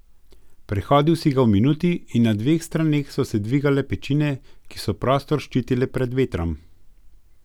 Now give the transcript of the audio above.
Prehodil si ga v minuti in na dveh straneh so se dvigale pečine, ki so prostor ščitile pred vetrom.